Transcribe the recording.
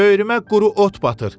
Böyrümə quru ot batır.